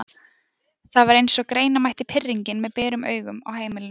Það var eins og greina mætti pirringinn með berum augum á heimilinu.